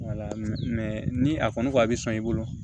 ni a kɔni ko a bi sɔn i bolo